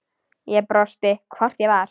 Ég brosti, hvort ég var!